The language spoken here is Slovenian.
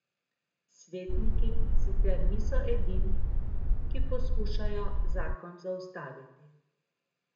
Svetniki sicer niso edini, ki poskušajo zakon zaustaviti.